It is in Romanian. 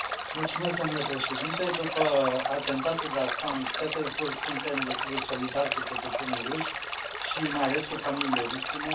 Domnule președinte, după atentatul de la Sankt Petersburg suntem desigur solidari cu cetățenii ruși și mai ales cu familiile victimelor.